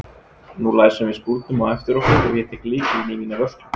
Nú læsum við skúrnum á eftir okkur og ég tek lykilinn í mína vörslu.